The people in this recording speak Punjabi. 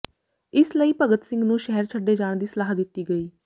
ਇਸ ਲਈ ਭਗਤ ਸਿੰਘ ਨੂੰ ਸ਼ਹਿਰ ਛੱਡੇ ਜਾਣ ਦੀ ਸਲਾਹ ਦਿੱਤੀ ਗਈ